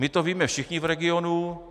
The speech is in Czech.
My to víme všichni v regionu.